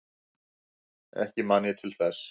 Ekki man ég til þess.